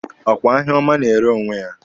Ọ kwa ahịa ọma na-ere onwe ya?